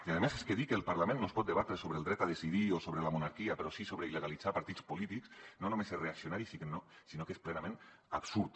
i a més és que dir que al parlament no es pot debatre sobre el dret a decidir o sobre la monarquia però sí sobre il·legalitzar partits polítics no només és reaccionari sinó que és plenament absurd